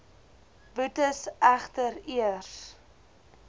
boetes egter eers